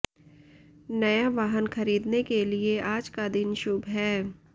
नया वाहन खरीदने के लिये आज का दिन शुभ है